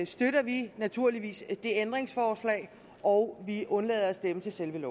støtter vi naturligvis det ændringsforslag og vi undlader at stemme til selve